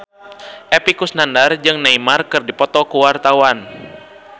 Epy Kusnandar jeung Neymar keur dipoto ku wartawan